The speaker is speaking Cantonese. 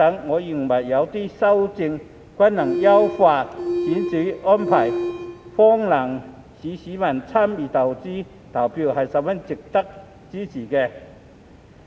我認為，這些修訂均能優化選舉安排，亦能方便市民參與選舉投票，是十分值得支持的。